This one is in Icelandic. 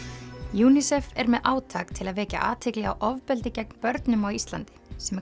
UNICEF er með átak til að vekja athygli á ofbeldi gegn börnum á Íslandi sem